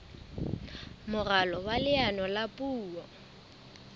moralo wa leano la puo